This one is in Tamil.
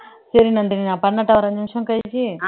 சரி நான் பன்னாட்டா ஒரு அஞ்சு நிமிஷம் கழிச்சு